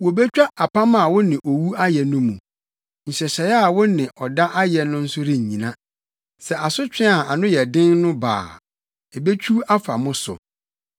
Wobetwa apam a wo ne owu ayɛ no mu; nhyehyɛe a wo ne ɔda ayɛ no nso rennyina sɛ asotwe a ano yɛ den no ba a, ebetwiw afa mo so.